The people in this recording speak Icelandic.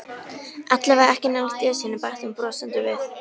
Allavega ekki nálægt Esjunni bætti hún brosandi við.